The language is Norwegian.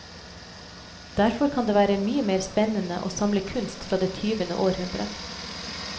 Derfor kan det være mye mer spennende å samle kunst fra det tyvende århundre.